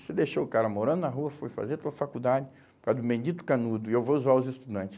Você deixou o cara morando na rua, foi fazer a tua faculdade por causa do bendito canudo e eu vou zoar os estudante.